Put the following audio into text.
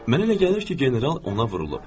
Mənə elə gəlir ki, general ona vurulub.